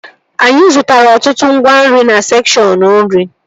Anyị zụtara ọtụtụ ngwa nri na sekshọn nri